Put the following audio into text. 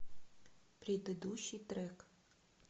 предыдущий трек